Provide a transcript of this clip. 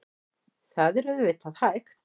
Það er auðvitað hægt.